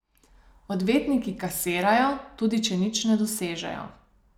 Odvetniki kasirajo, tudi če nič ne dosežejo.